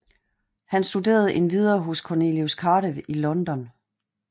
Han studerende endvidere hos Cornelius Cardew i London